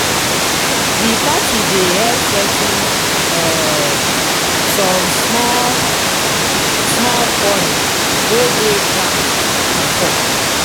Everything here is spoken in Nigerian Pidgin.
di party dey help settle um som small small quarrel wey dey ground bifor